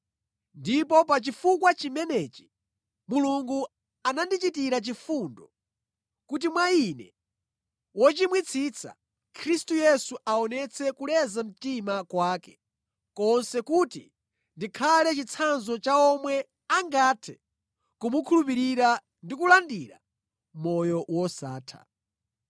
Ndipo pa chifukwa chimenechi, Mulungu anandichitira chifundo, kuti mwa ine, wochimwitsitsa, Khristu Yesu aonetse kuleza mtima kwake konse kuti ndikhale chitsanzo cha omwe angathe kumukhulupirira ndi kulandira moyo wosatha.